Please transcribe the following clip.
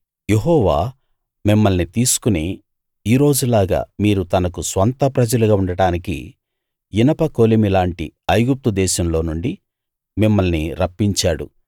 యెహోవా మిమ్మల్ని తీసుకుని ఈ రోజులాగా మీరు తనకు స్వంత ప్రజలుగా ఉండడానికి ఇనపకొలిమి లాంటి ఐగుప్తు దేశంలో నుండి మిమ్మల్ని రప్పించాడు